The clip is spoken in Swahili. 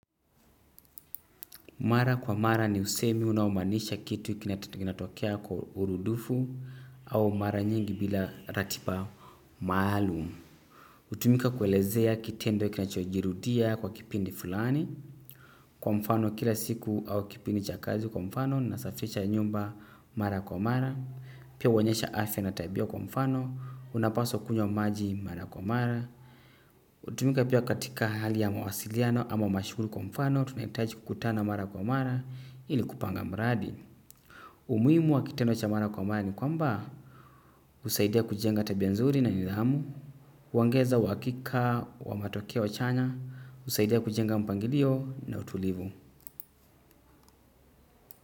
Mara kwa mara ni usemi unaomaanisha kitu kinatokea kwa urudufu au mara nyingi bila ratiba maalum. Hutumika kuelezea kitendo kinachojirudia kwa kipindi fulani. Kwa mfano kila siku au kipindi cha kazi kwa mfano, ninasafisha nyumba mara kwa mara. Pia huonyesha asi na tabia kwa mfano, unapaswa kunywa maji mara kwa mara. Hutumika pia katika hali ya mawasiliano ama mashughuli kwa mfano tunahitaji kukutana mara kwa mara ili kupanga mradi. Umuhimu wa kitendo cha mara kwa mara ni kwamba husaidia kujenga tabia nzuri na nidhamu. Huongeza uhakika wa matokeo chanya, husaidia kujenga mpangilio na utulivu.